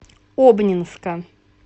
обнинска